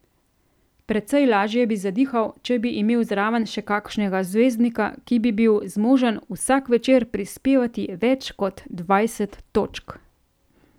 Precej lažje bi zadihal, če bi imel zraven še kakšnega zvezdnika, ki bi bil zmožen vsak večer prispevati več kot dvajset točk.